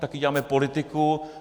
Taky děláme politiku.